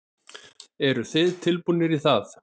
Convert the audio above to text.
Eruð þið tilbúnir í það?